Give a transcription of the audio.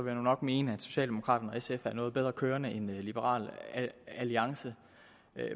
jeg nok mene at socialdemokraterne og sf er noget bedre kørende end liberal alliance